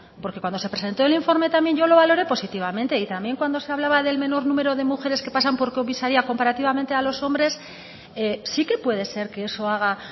porque cuando se presentó aquí el informe también yo lo valore positivamente y también cuando se hablaba del menor número de mujeres que pasan por comisaria comparativamente a los hombres sí que puede ser que eso haga